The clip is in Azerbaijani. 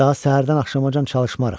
Daha səhərdən axşamacana çalışmarıq.